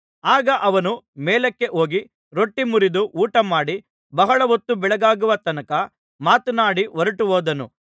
ಆಗ ಅವನು ಮೇಲಕ್ಕೆ ಹೋಗಿ ರೊಟ್ಟಿ ಮುರಿದು ಊಟಮಾಡಿ ಬಹಳ ಹೊತ್ತು ಬೆಳಗಾಗುವ ತನಕ ಮಾತನಾಡಿ ಹೊರಟುಹೋದನು